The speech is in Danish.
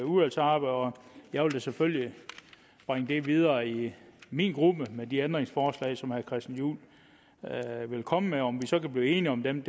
og jeg vil da selvfølgelig bringe det videre i min gruppe med de ændringsforslag som herre christian juhl vil komme med om vi så kan blive enige om dem